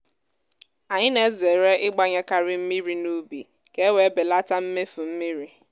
anyị na-ezere i gbanyekari mmiri n’ubi ka e wee belata mmefu mmiri.